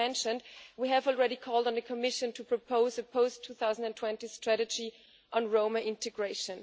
As mentioned, we have already called on the Commission to propose a post-2020 strategy on Roma integration.